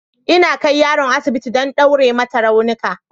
Ina kai yaron asibiti don ɗaure mata raunuka